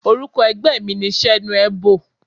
Orúkọ ẹgbẹ́ mi ni Senuebo.